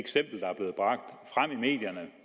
medierne